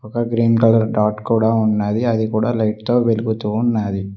ఒక green colour dot కూడా ఉన్నది అది కూడా లైట్ తో వెలుగుతూ ఉన్నాది.